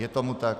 Je tomu tak.